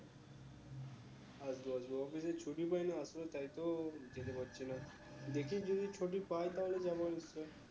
আসবো আসবো office এ ছুটি পাই না আসলে তাই তো যেতে পারছি না দেখি যদি ছুটি পাই তাহলে যাবো